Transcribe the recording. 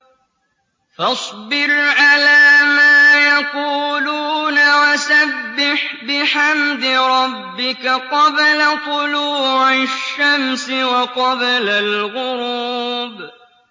فَاصْبِرْ عَلَىٰ مَا يَقُولُونَ وَسَبِّحْ بِحَمْدِ رَبِّكَ قَبْلَ طُلُوعِ الشَّمْسِ وَقَبْلَ الْغُرُوبِ